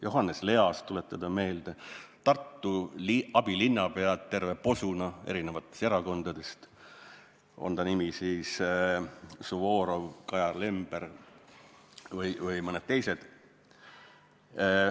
Johannes Leas, tuletage meelde, või Tartu abilinnapead, terve posu eri erakondadest, olgu Suvorov, Kajar Lember või mõned teised.